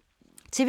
TV 2